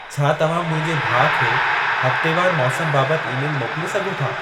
छा तव्हां मुंहिंजे भाउ खे हफ़्तेवारु मौसम बाबति ई-मेलु मोकिले सघो था